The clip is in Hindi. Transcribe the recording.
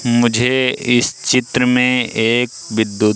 मुझे इस चित्र में एक विद्युत--